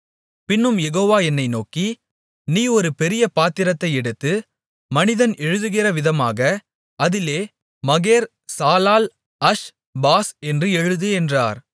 பின்னும் யெகோவா என்னை நோக்கி நீ ஒரு பெரிய பத்திரத்தை எடுத்து மனிதன் எழுதுகிறவிதமாக அதிலே மகேர்சாலால்அஷ்பாஸ் என்று எழுது என்றார்